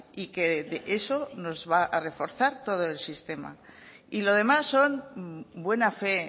y que eso nos va a reforzar todo el sistema y lo demás son buena fe